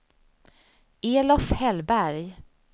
Elof Hellberg